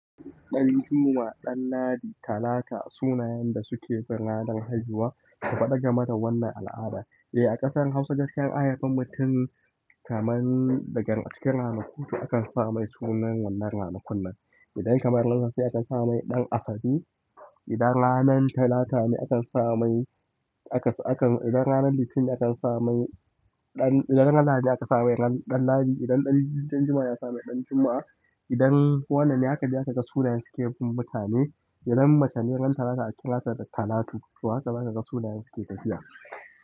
Ɗan Juma, Dan Ladi, Talata sunayen da suke bin ranar haihuwa, ka faɗi game da wannan al'ada. Eh, a ƙasar hausa gaskiya in an hafa mutum, kamar daga, a cikin ranaku, to akan sa mai sunan wannan ranakunnan idan kamar sai aka sa mai "Danasabe" idan ranar Talata ne akan sa mai, idan ranar litini ne akan sa mai, idan ranar lahadi ne akan sa mai "Danladi" idan ɗan juma'a ne, akan sa mai "Danjuma" idan wanna ne, haka dai sunayen suke bin mutane idan mace ne ran Talata akan kira ta da Talatu, to haka za ka ga sunayen suke tafiya.